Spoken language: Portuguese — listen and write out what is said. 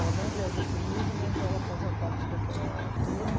Ela não viajou comigo, mas ela fazia parte daquela turma.